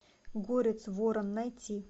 горец ворон найти